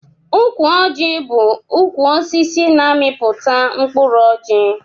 Ukwu ọji bu ukwu osisi na amiputa mkụrụ ọji.